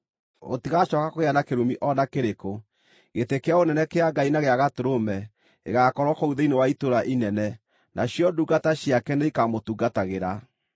Gũtigacooka kũgĩa na kĩrumi o na kĩrĩkũ. Gĩtĩ-kĩa-ũnene kĩa Ngai na gĩa Gatũrũme gĩgaakorwo kũu thĩinĩ wa itũũra inene, nacio ndungata ciake nĩikamũtungatagĩra.